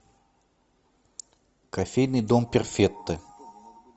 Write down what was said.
кофейный дом перфекто